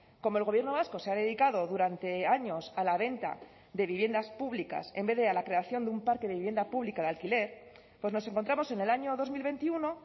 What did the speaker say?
como el gobierno vasco se ha dedicado durante años a la venta de viviendas públicas en vez de a la creación de un parque de vivienda pública de alquiler pues nos encontramos en el año dos mil veintiuno